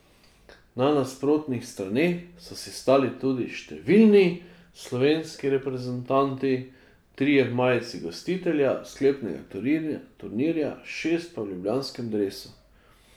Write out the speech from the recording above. Na nasprotnih straneh so si stali tudi številni slovenski reprezentanti, trije v majici gostitelja sklepnega turnirja, šest pa v ljubljanskem dresu.